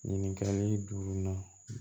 Ɲininkali duurunan